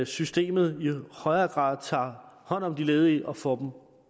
systemet i højere grad tager hånd om de ledige og får